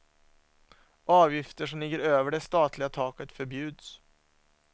Avgifter som ligger över det statliga taket förbjuds.